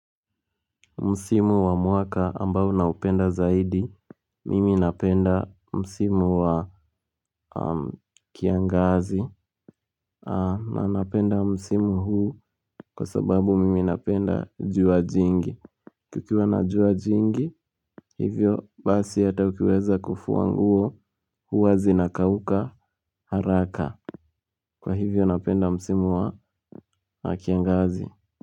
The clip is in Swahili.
Msimu wa mwaka ambao naupenda zaidi mimi napenda msimu wa am kiangazi, a na napenda msimu huu, kwa sababu mimi napenda jua jingi. Kukiwa na jua jingi, hivyo basi hata ukiweza kufua nguo, huwa zinakauka haraka. Kwa hivyo napenda msimu wa kiangazi.